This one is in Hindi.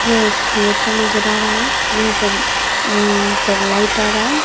यह एक थिएटर नजर आ रहा है। यहाँ पर हम्म मुँह पर लाइट आ रहा है।